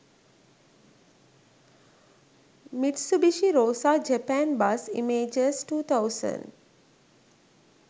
mitsubishi rosa japan bus images 2000